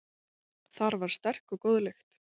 Þar var sterk og góð lykt.